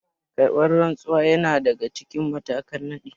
Karɓar rantsuwa yana daga cikin matakan nadi